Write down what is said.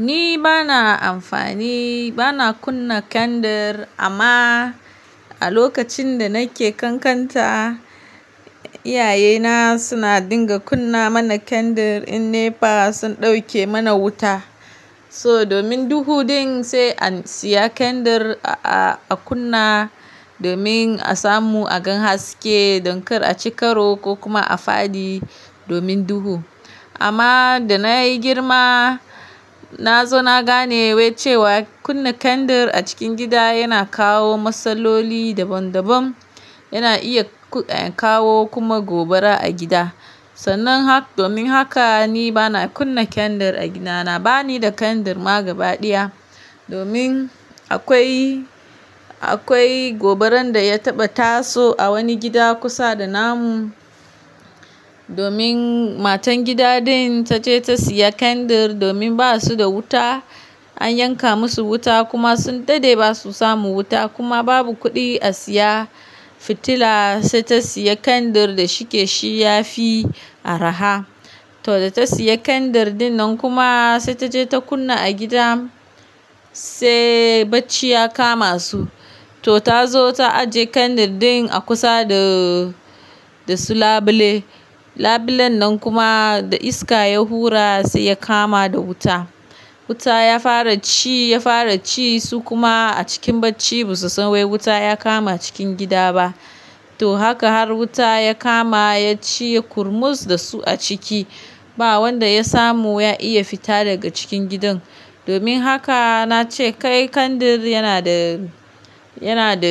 Ni bana amfani, bana kunna kandir amma a lokacin da nake ƙanƙanta, iyaye na suna dinga kunna mana kandir in NEPA sun ɗauke mana wuta. So domin duhu ɗin sai an siya kandir a kunna domin a samu a gan haske don kar a ci karo ko kuma a faɗi domin duhu. Amma da na yi girma, na zo na gane wai cewa kunna kandir a cikin gida yana kawo matsaloli daban daban, yana iya kawo kuma gobara a gida. Sannan hak domin haka ni bana kunna kandir a gida. Na bani da kandir ma gaba ɗaya. Domin akwai, akwai gobaran da ya taɓa taso a wani gida kusa da namu. Domin matan gida ɗin ta ce ta siya kandir domin ba su da wuta, an yanka musu wuta kuma sun daɗe ba su samu wuta kuma babu kuɗi a siya fitila sai ta siya kandir da shike shi yafi araha. To da ta siya kandir dinnan kuma sai taje ta kunna a gida sai bacci ya kama su. To ta zo ta ajiye kandir din a kusa da, da su labule. Labulen nan kuma da iska ya hura sai ya kama da wuta. Wuta ya fara ci, ya fara ci su kuma a cikin bacci ba su san wai wuta ya kama cikin gida ba. To haka har wuta ya kama ya ci yai ƙurmus da su a ciki. Ba wanda ya samu ya iya fita daga cikin gidan. Domin haka na ce kai kandir yana da, yana da,